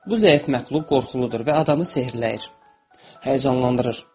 Bu zəif məxluq qorxuludur və adamı sehrləyir, həyəcanlandırır.